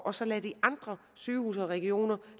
og så lade de andre sygehuse og regioner